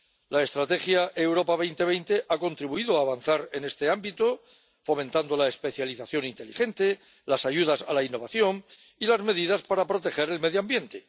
La Estrategia Europa 2020 ha contribuido a avanzar en este ámbito, fomentando la especialización inteligente, las ayudas a la innovación y las medidas para proteger el medio ambiente.